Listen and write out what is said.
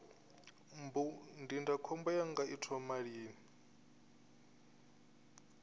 mbu ndindakhombo yanga i thoma lini